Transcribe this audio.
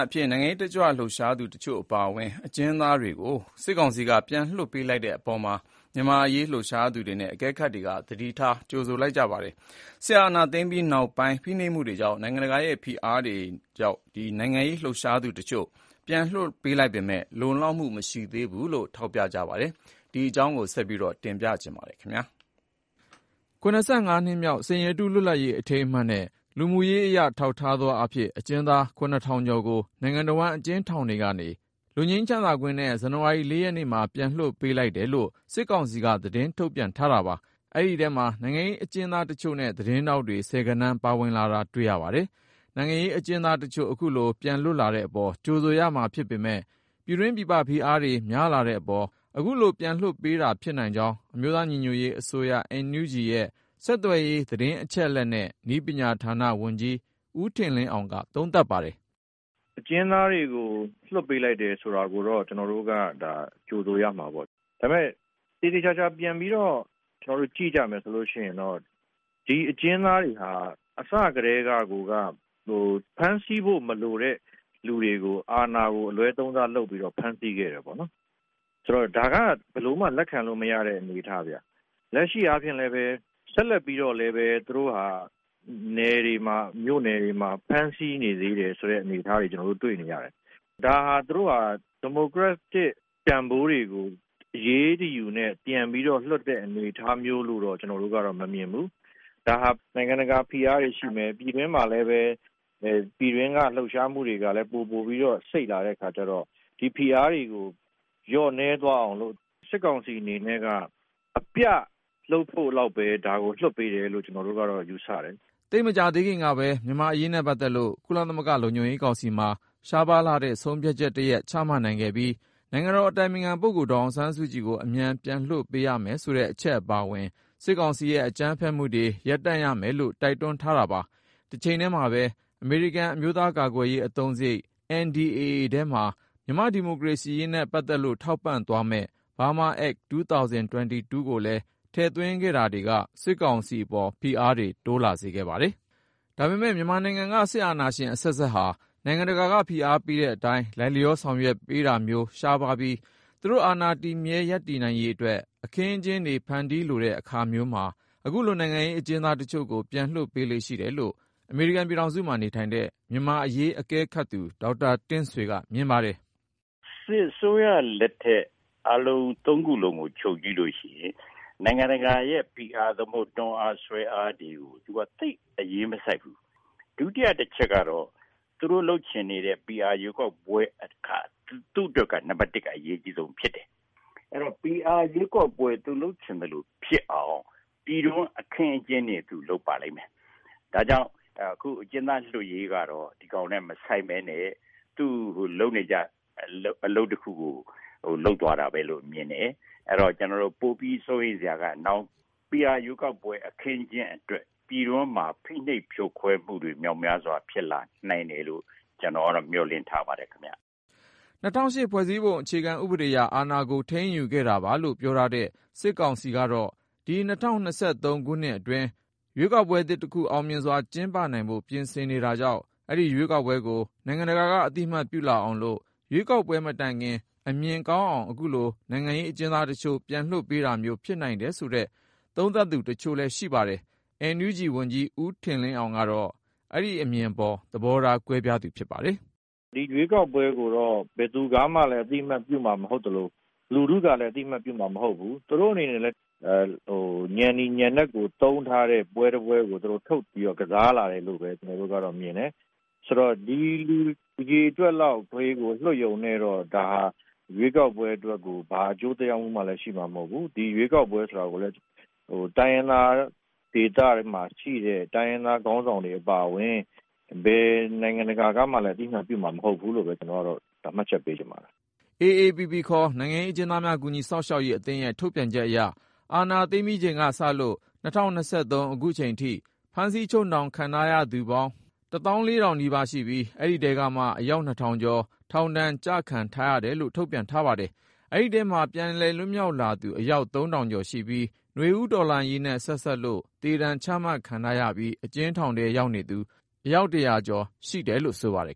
အဖြစ် နိုင်ငံရေးတက်ကြွလှုပ်ရှားသူတချို့ အပါအဝင် အကျဉ်းသားတွေကို စစ်ကောင်စီက ပြန်လွှတ်ပေးလိုက်တဲ့အပေါ် မြန်မာ့အရေး လှုပ်ရှားသူတွေနဲ့ အကဲခတ်တွေက သတိထား ကြိုဆိုလိုက်ကြပါတယ်။ စစ်အာဏာသိမ်းပြီးနောက်ပိုင်း ဖိနှိပ်မှုတွေကြောင့် နိုင်ငံတကာရဲ့ ဖိအားတွေကြောင့် နိုင်ငံရေး လှုပ်ရှားသူတချို့ ပြန်လွှတ်ပေးလိုက်ပေမဲ့ လုံလောက်မှု မရှိဘူးလို့လည်း ထောက်ပြခဲ့ကြတာပါ။ ဆက်သွယ်မေးမြန်းထားတဲ့ ကိုဉာဏ်ဝင်းအောင်က တင်ပြထားပါတယ်။ နှစ်မြောက် စိန်ရတု လွတ်လပ်ရေးအထိမ်းအမှတ်နဲ့ လူမှုရေးအရ ထောက်ထားသောအားဖြင့် အကျဉ်းသား ၇,၀၁၂ ဦးကို နိုင်ငံတဝှမ်း အကျဉ်းထောင်တွေကနေ လွတ်ငြိမ်းချမ်းသာခွင့်နဲ့ ဇန်နဝါရီ ရက်နေ့မှာ ပြန်လွှတ်ပေးလိုက်တယ်လို့ စစ်ကောင်စီက သတင်းထုတ်ပြန်ထားတာပါ။ အဲဒီထဲမှာ နိုင်ငံရေးအကျဉ်းသားနဲ့ သတင်းထောက်တွေ ဆယ်ဂဏန်းလောက်သာ ပါဝင်လာတာ တွေ့ရပါတယ်။ နိုင်ငံရေးအကျဉ်းသားတချို့ အခုလို ပြန်လွတ်လာတဲ့အပေါ် ကြိုဆိုရမှာဖြစ်ပေမယ့် ပြည်တွင်းပြည်ပ ဖိအားတွေ များလာတဲ့အပေါ် ခုလို ပြန်လွှတ်ပေးတာ ဖြစ်နိုင်ကြောင်း အမျိုးသားညီညွတ်ရေးအစိုးရ NUG ရဲ့ ဆက်သွယ်ရေး သတင်းအချက်အလက်နဲ့ နည်းပညာဝန်ကြီးဌာန ဝန်ကြီး ဦးထင်လင်းအောင်က သုံးသပ်ပါတယ်။ “ အကျဉ်းသားတွေကို လွှတ်ပေးလိုက်တယ် ဆိုတာကိုတော့ ကျနော်တို့က ဒါ ကြိုဆိုရမှာပေါ့။ ဒါပေမဲ့ သေသေချာချာ ပြန်ပြီးတော့ ကျနော်တို့ ကြည့်ကြမယ်ဆိုရင်တော့ ဒီ အကျဉ်းသားတွေဟာ အစကတည်းက ကိုက ဖမ်းဆီးဖို့ မလိုတဲ့ သူတွေကို အာဏာကို အလွဲသုံးစား လုပ်ပြီးတော့ ဖမ်းဆီးခဲ့တယ်ပေါ့နော်။ ဒါက ဘယ်လိုမှ လက်ခံလို့ မရတဲ့ အနေအထားဗျ။ လက်ရှိ အားဖြင့်လည်းပဲ ဆက်လက်ပြီးတော့လည်း သူတို့ဟာ နယ်တွေမှာ မြို့နယ်တွေမှာ ဖမ်းဆီးနေသေးတယ် ဆိုတဲ့ အနေအထားတွေ ကျနော်တို့ တွေ့နေရတယ်။ ဒါဟာ သူတို့ဟာ ဒီမိုကရက်တစ် တန်ဖိုးတွေကို အရေးတယူနဲ့ ပြန်ပြီးတော့ လွှတ်တဲ့ အနေအထားမျိုးလို့တော့ ကျနော်တို့ကတော့ မမြင်ဘူး။ ဒါဟာ နိုင်ငံတကာ ဖိအားတွေ ရှိမယ်။ ပြည်တွင်းမှာလည်းပဲ ပြည်တွင်းက လှုပ်ရှားမှုတွေက ပိုပိုပြီးတော့ စိပ်လာတဲ့ အခါကျတော့ ဒီဖိအားတွေကို လျော့နည်းသွားအောင်လို့ စစ်ကောင်စီ အနေနဲ့က အပြ လုပ်ဖို့လောက်ဘဲ လွှတ်ပေးတယ်လို့ဘဲ ကျနော်တို့ကတော့ ယူဆတယ်။” သိပ်မကြာသေးခင်ကပဲ မြန်မာ့အရေးနဲ့ပတ်သက်လို့ ကုလသမဂ္ဂ လုံခြုံရေးကောင်စီမှာ ရှားပါးလှတဲ့ ဆုံးဖြတ်ချက်တရပ် ချမှတ်နိုင်ခဲ့ပြီး နိုင်ငံတော်အတိုင်ပင်ခံ ဒေါ်အောင်ဆန်းစုကြည်ကို အမြန်ဆုံး လွှတ်ပေးရမယ်ဆိုတဲ့အချက်အပါအဝင် စစ်ကောင်စီရဲ့ အကြမ်းဖက်မှုတွေကို ရပ်တန့်ရမယ်လို့ တိုက်တွန်းထားတာပါ။ တချိန်တည်းမှာပဲ အမေရိကန် အမျိုးသားကာကွယ်ရေးအသုံးစရိတ် NDAA ထဲမှာ မြန်မာ့ဒီမိုကရေစီရေးနဲ့ ပတ်သက်လို့ ထောက်ပံ့သွားမယ့် Burma ACT 2022 ကိုလည်း ထည့်သွင်းခဲ့တာတွေက စစ်ကောင်စီအပေါ် ဖိအားတွေ တိုးလာစေခဲ့ပါတယ်။ ဒါပေမဲ့ မြန်မာနိုင်ငံက စစ်အာဏာရှင်အဆက်ဆက်ဟာ နိုင်ငံတကာက ဖိအားပေးတဲ့အတိုင်း လိုက်လျောဆောင်ရွက်ပေးတာမျိုး ရှားပါးပြီး သူတို့ အာဏာတည်မြဲ ရပ်တည်နိုင်ရေးအတွက် အခင်းအကျင်းတွေ ဖန်တီးလိုတဲ့အခါမျိုးမှာ အခုလို နိုင်ငံရေးအကျဉ်းသားတချို့ကို လွှတ်ပေးလေ့ရှိတယ်လို့ အမေရိကန်ပြည်ထောင်စုမှာနေထိုင်တဲ့ မြန်မာ့အရေးအကဲခတ်သူ ဒေါက်တာ တင့်ဆွေက မြင်ပါတယ်။ “ စစ်အစိုးရ လက်ထက် အားလုံး သုံးခုလုံးကို ခြုံကြည့်လို့ ရှိရင် နိုင်ငံတကာရဲ့ ဖိအား သို့မဟုတ် တွန်းအား ဆွဲအားတွေကို သူက သိပ် အရေးမစိုက်ဘူး။ ဒုတိယ အချက်ကတော့ သူတို့ လုပ်ချင်နေတဲ့ PR ရွေးကောက်ပွဲက သူ့အတွက်က နံပတ် ၁ က အရေးကြီးဆုံး ဖြစ်တယ်။ အဲတော့ PR ရွေးကောက်ပွဲ သူလုပ်ချင်သလို ဖြစ်အောင် ပြည်တွင်း အခင်းအကျင်းနဲ့ သူ လုပ်ပါလိမ့်မယ်။ ဒါကြောင့် အခုအကျဉ်းသား လွှတ်ရေးကတော့ ဒီကောင်နဲ့ မဆိုင်ဘဲနဲ့ သူ လုပ်နေကျ အလုပ်တခုကို လုပ်သွားတာဘဲလို့ မြင်တယ်။ ပိုပြီး စိုးရိမ်စရာက PR ရွေးကောက်ပွဲ အခင်းအကျင်း အတွက် ပြည်တွင်းမှာ ဖိနှိပ်ဖြိုခွဲမှုတွေ မြောက်များစွာ ဖြစ်လာနိုင်တယ်လို့ ကျနော်ကတော့ မျှော်လင့်ထားပါတယ်ခင်ဗျ။ ” ၂၀၀၈ ဖွဲ့စည်းပုံအခြေခံဥပဒေအရ အာဏာကို ထိန်းယူခဲ့တာပါလို့ ပြောထားတဲ့ စစ်ကောင်စီကတော့ ဒီ ၂၀၂၃ ခုနှစ်အတွင်း ရွေးကောက်ပွဲသစ်တခု အောင်မြင်စွာ ကျင်းပနိုင်ဖို့ ပြင်ဆင်နေတာကြောင့် အဲဒီရွေးကောက်ပွဲကို နိုင်ငံတကာက အသိအမှတ်ပြုလာအောင်လို့ ၊ ရွေးကောက်ပွဲ မတိုင်ခင် အမြင်ကောင်းအောင် ခုလို နိုင်ငံရေးအကျဉ်းသားတချို့ ပြန်လွှတ်ပေးတာမျိုး ဖြစ်နိုင်တယ်ဆိုတဲ့ သုံးသပ်သူတချို့လည်းရှိပါတယ်။ NUG ဝန်ကြီး ဦးထင်လင်းအောင်ကတော့ အဲဒီအမြင်အပေါ် သဘောထား ကွဲပြားသူဖြစ်ပါတယ်။ “ ဒီရွေးကောက်ပွဲကိုတော့ ဘယ်သူကမှလည်း အသိအမှတ်ပြုမှာ မဟုတ်သလို လူထုကလည်း အသိအမှတ်ပြုမှာ မဟုတ်ဘူး။ သူတို့ အနေနဲ့လည်း ညဏ်နီ ညဏ်နက်ကို သုံးထားတဲ့ ပွဲတပွဲကို ထုတ်ပြီးတော့ ကစားလာတယ်လို့ဘဲ ကျနော်တို့ကတော့ မြင်တယ်။ ဆိုတော့ ဒီလူ အရေအတွက်လောက်လေးကို လွှတ်ရုံနဲ့တော့ ဒါဟာ ရွေးကောက်ပွဲ အတွက်ကို ဘာအကျိုးသက်ရောက်မှုကိုမှ ရှိမှာ မဟုတ်ဘူး။ ဒီ ရွေးကောက်ပွဲ ဆိုတာကိုလည်း တိုင်းရင်းသား ဒေသတွေမှာ ရှိတဲ့ တိုင်းရင်းသား ခေါင်းဆောင်တွေ အပါအဝင် ဘယ်နိုင်ငံတကာကမှလည်း အသိအမှတ်ပြုမှာ မဟုတ်ဘူးလို့ဘဲ ကျနော်ကတော့ မှတ်ချက်ပေးချင်ပါတယ်။ ” AAPP ခေါ် နိုင်ငံရေးအကျဉ်းသားများကူညီစောင့်ရှောက်ရေးအသင်းရဲ့ ထုတ်ပြန်ချက်အရ အာဏာသိမ်းပြီးချိန်ကစလို့ ၂၀၂၃ ခုနှစ် ခုချိန်ထိ ဖမ်းဆီးချုပ်နှောင်ခြင်းခံထားရသူ စုစုပေါင်း ၁၄,၀၀၀ နီးပါးရှိပြီး အဲဒီထဲကမှ အယောက် ၂,၀၀၀ ကျော် ထောင်ဒဏ် ကျခံထားရတယ်လို့ ထုတ်ပြန်ထားပါတယ်။ ဒီထဲမှာ ပြန်လည်လွတ်မြောက်လာသူ အယောက် ၃,၀၀၀ ကျော်ရှိပြီး နွေဦးတော်လှန်ရေးနဲ့ ဆက်စပ်လို့ သေဒဏ် ချမှတ်ခံထားရပြီး အကျဉ်းထောင်တွေထဲ ရှိနေသူ အယောက် ၁၀၀ ကျော်ရှိတယ်လို့ ဆိုပါတယ်